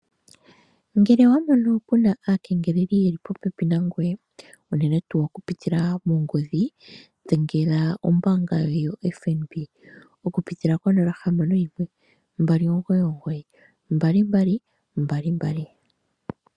Ngele wamono aakengeleli yeli popepi nangoye unene tuu okupitila mongodhi dhengela ombaanga yoFNB okupitila konomola 0612992222